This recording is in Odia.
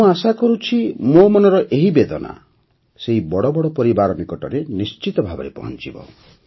ମୁଁ ଆଶା କରୁଛି ଯେ ମୋ ମନର ଏହି ବେଦନା ସେହି ବଡ଼ ବଡ଼ ପରିବାର ନିକଟରେ ନିଶ୍ଚିତ ଭାବେ ପହଂଚିବ